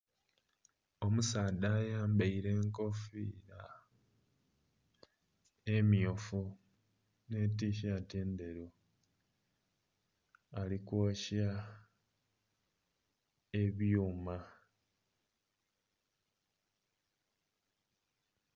Omusaadha ayambaile enkofiira emmyufu nh'etishaati endheru ali kwokya ebyuma.